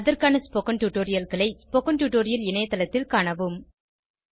அதற்கான ஸ்போகன் டுடோரியல்களை spoken tutorial இணையத்தளத்தில் காணவும்